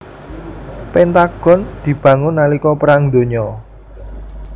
Pentagon dibangun nalika Perang Donya